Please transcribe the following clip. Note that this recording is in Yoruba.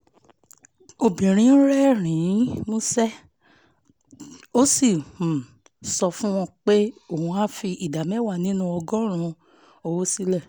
obìnrin rẹ́rìn-ín músẹ́ ó sì um sọ fún un pé òun á òun á fi ìdá mẹ́wàá nínú ọgọ́rùn-ún owó sílẹ̀